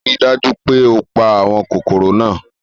Rii daju pe o pa awọn kokoro naa